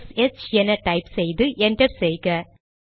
S H என type செய்து enter செய்க